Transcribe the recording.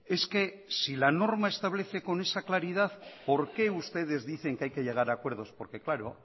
es que si la norma establece con esa claridad por qué ustedes dicen que hay que llegar a acuerdos por que claro